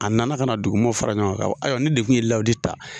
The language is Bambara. A nana ka na dugu mɔɔ fara ɲɔgɔn kan k'a fɔ ayiwa ne de tun ye lawudi ta